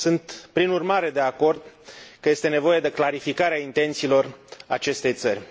Sunt, prin urmare, de acord că este nevoie de clarificarea intențiilor acestei țări.